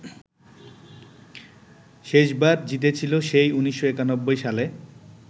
শেষবার জিতেছিল সেই ১৯৯১ সালে